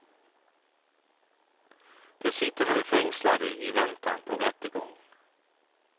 De sitter nu fängslade i väntan på rättegång.